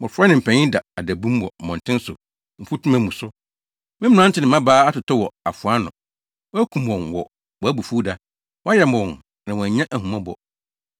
“Mmofra ne mpanyin da adabum wɔ mmɔnten so mfutuma mu so, me mmerante ne mmabaa atotɔ wɔ afoa ano. Woakum wɔn wɔ wʼabufuwda; woayam wɔn na woannya ahummɔbɔ.